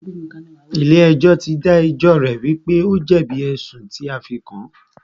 Ilé ẹjọ́ tí dá ẹjọ́ rẹ̀ wípé o jẹ̀bi ẹ̀sùn tí a fí kàn án.